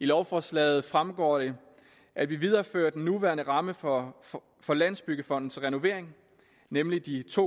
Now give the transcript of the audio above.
i lovforslaget fremgår det at vi viderefører den nuværende ramme for for landsbyggefondens renovering nemlig de to